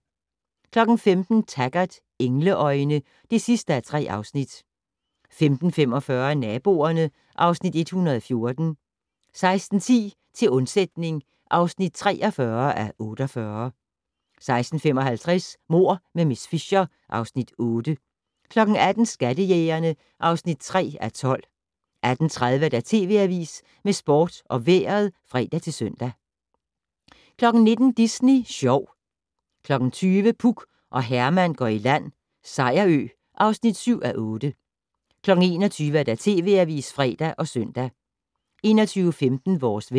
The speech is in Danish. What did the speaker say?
15:00: Taggart: Engleøjne (3:3) 15:45: Naboerne (Afs. 114) 16:10: Til undsætning (43:48) 16:55: Mord med miss Fisher (Afs. 8) 18:00: Skattejægerne (3:12) 18:30: TV Avisen med sport og vejret (fre-søn) 19:00: Disney Sjov 20:00: Puk og Herman går i land - Sejerø (7:8) 21:00: TV Avisen (fre og søn) 21:15: Vores vejr